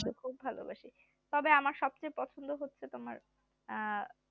খুব ভালোবাসি তবে আমার সবচেয়ে পছন্দ হছে তোমার